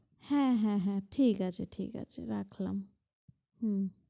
হ্যাঁ হ্যাঁ হ্যাঁ ঠিক আছে ঠিক আছে রাখলাম হম